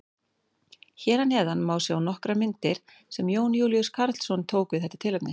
Hér að neðan má sjá nokkrar myndir sem Jón Júlíus Karlsson tók við þetta tilefni.